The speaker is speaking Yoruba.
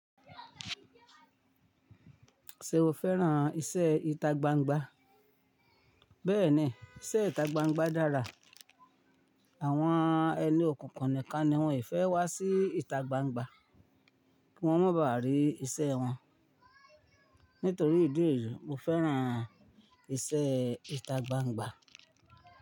Ṣé o fẹ́ràn iṣẹ́ ìta gbangba? Bẹ́ẹ̀ni, iṣẹ́ ìta gbangba dára. Àwọn ẹni okunkun nìkan ni wọ́n e fẹ́ wá sí ìta gbangba kí wọ́n máa baa rií iṣẹ́ wọn. Nítorí ìdí èyí, mo fẹ́ràn iṣẹ́ ìta gbangba.